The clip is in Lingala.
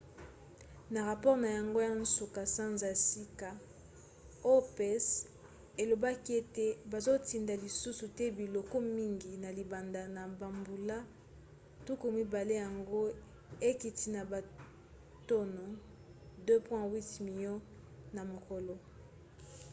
na rapore na yango ya nsuka sanza ya sika opec elobaki ete bazotinda lisusu te biloko mingi na libanda na bambula tuku mibale yango ekiti na batono 2,8 milio na mokolo